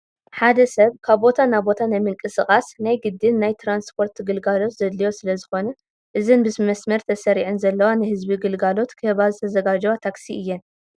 ሓደ ሰብ ካብ ቦታ ናብ ቦታ ንምንቅስቓስ ናይ ግድን ናይ ትራንስፖርት ግልጋሎት ዘድልዮ ስለ ዝኾነ እዘን ብመስመር ተሰሪዐን ዘለዋ ንህዝቢ ግልጋሎት ክህባ ዝተዘጋጀዋ ታክሲ እየን።